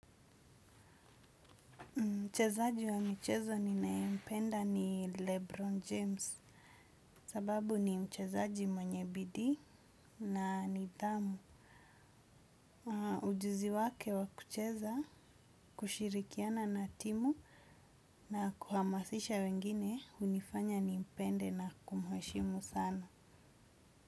Mchezaji wa michezo ninayempenda ni Lebron James sababu ni mchezaji mwenye bidii na nidhamu. Ujuzi wake wa kucheza, kushirikiana na timu na kuhamasisha wengine hunifanya nimpende na kumheshimu sana.